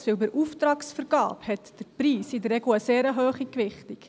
Denn bei der Auftragsvergabe hat der Preis in der Regel eine sehr hohe Gewichtung.